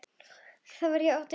Þá var ég átján ára.